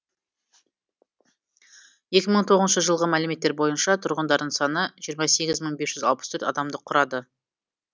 екі мың тоғызыншы жылғы мәліметтер бойынша тұрғындарының саны жиырма сегіз мың бес жүз алпыс төрт адамды құрады